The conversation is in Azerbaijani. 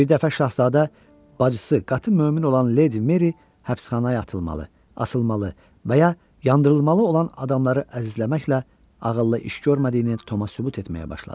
Birdəfə şahzadə bacısı qatı mömin olan Leydi Meri həbsxanaya atılmalı, asılmalı və ya yandırılmalı olan adamları əzizləməklə ağıllı iş görmədiyini Toma sübut etməyə başladı.